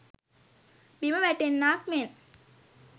බිම වැටෙන්නාක් මෙන්